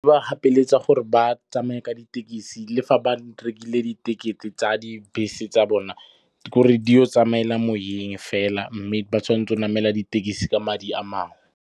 Ba ba gapeletsa gore ba tsamaya ka ditekisi le fa ba rekile diketekete tsa dibese tsa bona. Ke gore di o tsamaela moyeng fela mme ba tshwanetse go namela ditekisi ka madi a mangwe.